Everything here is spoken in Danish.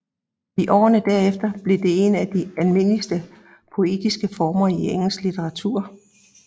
I årene derefter blev det en af de almindeligste poetiske former i engelsk litteratur